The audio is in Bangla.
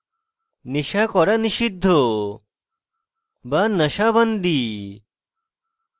nasha করা নিষিদ্ধ ban nasha bandi